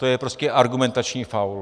To je prostě argumentační faul.